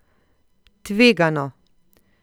Tvegano!